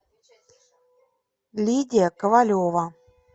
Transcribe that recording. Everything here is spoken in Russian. лидия ковалева